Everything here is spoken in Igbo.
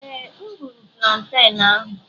Ee, M gburu planten ahụ.